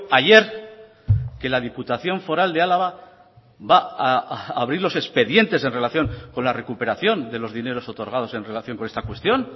ayer que la diputación foral de álava va a abrir los expedientes en relación con la recuperación de los dineros otorgados en relación con esta cuestión